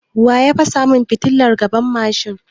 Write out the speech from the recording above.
Waya fasa mun fitilan gaban mashin?